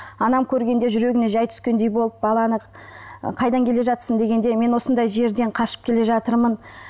анам көргенде жүрегіне жай түскендей болып баланы ы қайдан келе жатырсың дегенде мен осындай жерден қашып келе жатырмын